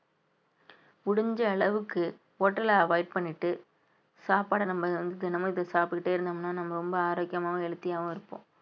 முடிஞ்ச அளவுக்கு hotel அ avoid பண்ணிட்டு சாப்பாட நம்ம வந்து தினமும் இத சாப்பிட்டுக்கிட்டே இருந்தோம்ன்னா நம்ம ரொம்ப ஆரோக்கியமாவும் healthy ஆவும் இருப்போம்